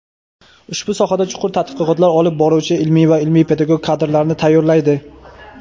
ushbu sohada chuqur tadqiqotlar olib boruvchi ilmiy va ilmiy-pedagog kadrlarni tayyorlaydi.